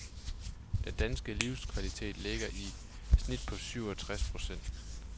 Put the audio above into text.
Den danske livskvalitet ligger i snit på syv og treds point.